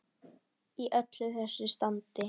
Í öllu þessu standi.